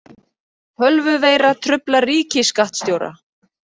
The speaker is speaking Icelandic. Tölvuveira truflar ríkisskattstjóra